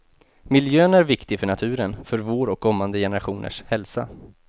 Miljön är viktig för naturen, för vår och kommande generationers hälsa.